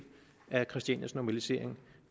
af christianias normalisering